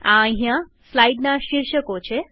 આ અહિયાં સ્લાઈડના શીર્ષકો છે